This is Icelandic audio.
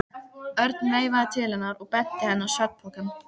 Örn veifaði til hennar og benti henni á svefnpokann.